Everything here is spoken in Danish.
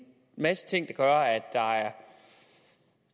masse ting der gør at der er